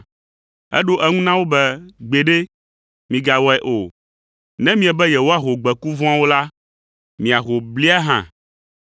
“Eɖo eŋu na wo be, ‘Gbeɖe, migawɔe o, ne miebe yewoaho gbeku vɔ̃awo la, miaho blia hã,